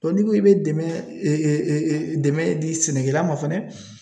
Bɔn n'i ko i be dɛmɛ e e e dɛmɛ di sɛnɛkɛla ma fɛnɛ